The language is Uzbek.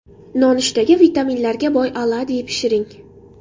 Nonushtaga vitaminlarga boy oladyi pishiring.